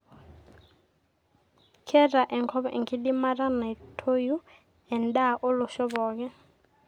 keeta enkop enkidimata naitoiu endaa olosho pooki